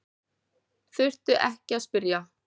Þurfti ekki að spyrja.